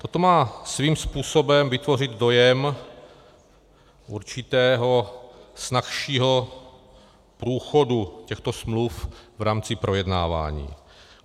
Toto má svým způsobem vytvořit dojem určitého snazšího průchodu těchto smluv v rámci projednávání.